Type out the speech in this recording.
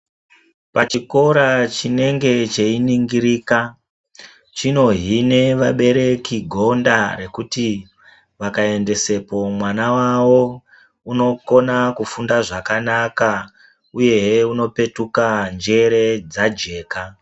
Pachikora chinenge cheiningirika chinohine vabereki gonda rekuti vakaendesepo mwana wavo unokona kufunda zvakanaka uyehe unopetuka njere dzajeka.